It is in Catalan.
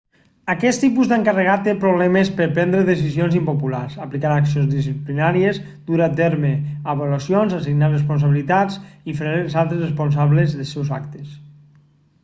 aquest tipus d'encarregat té problemes per prendre decisions impopulars aplicar accions disciplinàries dur a terme avaluacions assignar responsabilitats i fer els altres responsables dels seus actes